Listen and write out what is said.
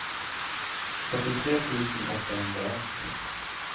fyrtiotre tusen åttahundraett